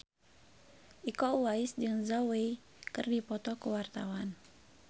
Iko Uwais jeung Zhao Wei keur dipoto ku wartawan